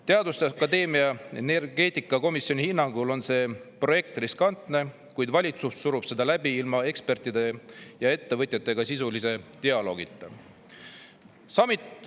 Teaduste akadeemia energeetikakomisjoni hinnangul on see projekt riskantne, kuid valitsus surub seda läbi ilma ekspertide ja ettevõtjatega sisulist dialoogi.